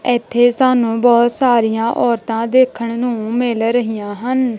ਇਥੇ ਸਾਨੂੰ ਬਹੁਤ ਸਾਰੀਆਂ ਔਰਤਾਂ ਦੇਖਣ ਨੂੰ ਮਿਲ ਰਹੀਆਂ ਹਨ।